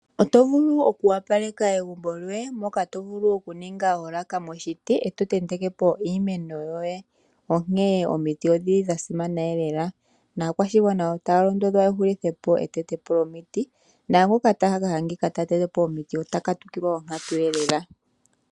Oto vulu oku opaleka egumbo lyoye ano ngele owaningi oolaka dhoye dhokuntenteka nenge okutula iimeno yoye mbyono hayi monikitha omagumbo nawa. Omiti odhili dhasimana lela naakwashigwana otaya londodhwa yahulithepo oku teta omiti, no naangoka taka adhika ta tete po omiti otaka katukilwa onkatu.